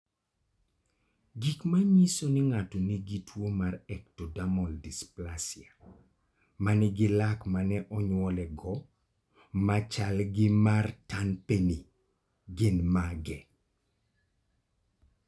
Gik manyiso ni ng'ato nigi tuwo mar Ectodermal dysplasia ma nigi lak ma ne onyuolego ma chal gi mar Turnpenny gin mage?